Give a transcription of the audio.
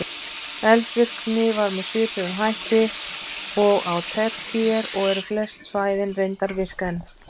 Eldvirkni var með svipuðum hætti og á tertíer og eru flest svæðin reyndar virk enn.